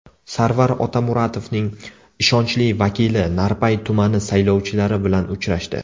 Sarvar Otamuratovning ishonchli vakili Narpay tumani saylovchilari bilan uchrashdi.